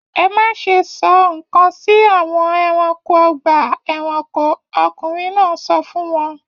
Ẹ má ṣe sọ nǹkan sí àwọn ẹranko ọgbà-ẹranko! Ọkùnrin náà sọ fún wọn.